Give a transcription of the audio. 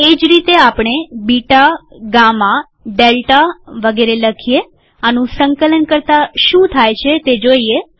એ જ રીતે આપણે બીટા ગામા ડેલ્ટા વગેરે લખીએઆનું સંકલન કરતા શું થાય છે તે જોઈએ